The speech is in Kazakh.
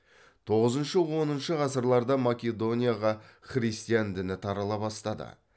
тоғызыншы оныншы ғасырларда македонияға христиан діні тарала бастады